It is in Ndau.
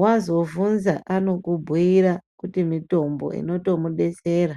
Wazovhunza anokubhuira kuti mutombo, uno tomudetsera.